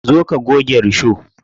Zo ka goge risho.